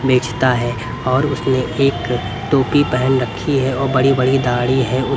बेचता है और उसने एक टोपी पहन रखी है और बड़ी-बड़ी दाढ़ी है--